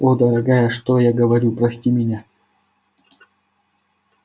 о дорогая что я говорю прости меня